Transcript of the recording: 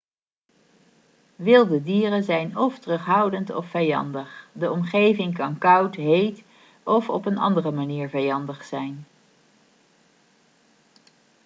wilde dieren zijn of terughoudend of vijandig de omgeving kan koud heet of op een andere manier vijandig zijn